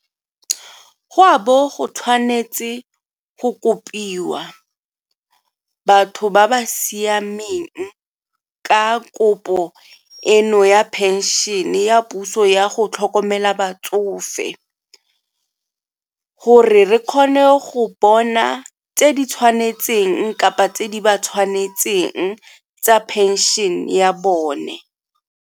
Go a bo go tshwanetse go kopiwa batho ba ba siameng ka kopo eno ya phenšene ya puso ya go go tlhokomela batsofe gore re kgone go bona tse di tshwanetseng kapa tse di ba tshwanetseng tsa phenšene ya bone.